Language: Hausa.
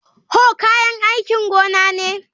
Hoe kayan aikin gona ne